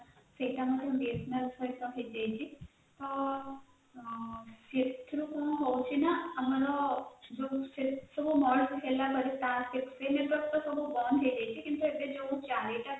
ସେଇଟା ମଧ୍ୟ BSNL ସହିତ ହେଇଯାଇଛି, ସେଥିରେ କଣ ହଉଛି ନା ଆମର merge ହେଲାପରେ ବନ୍ଦ ହେଇଯାଇଛି କିନ୍ତୁ ଏବେ ଯଉ ଚାରିଟା ଚାଲିଛି